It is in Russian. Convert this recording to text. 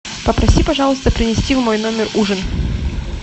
попроси пожалуйста принести в мой номер ужин